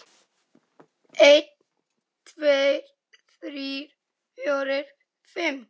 einn. tveir. þrír. fjórir. fimm.